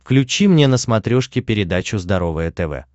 включи мне на смотрешке передачу здоровое тв